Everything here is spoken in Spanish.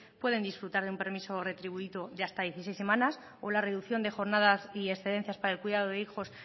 pueden disfrutar de un permiso retribuido de hasta dieciséis semanas o la reducción de jornadas y excedencias para el cuidado de hijos